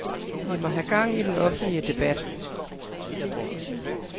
Vi må have gang i den offentlige debat.